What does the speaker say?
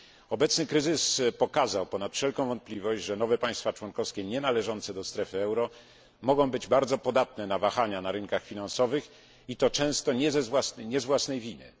Obecny kryzys pokazał ponad wszelką wątpliwość, że nowe państwa członkowskie nienależące do strefy euro mogą być bardzo podatne na wahania na rynkach finansowych i to często nie z własnej winy.